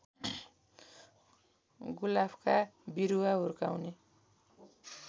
गुलाफका बिरुवा हुर्काउने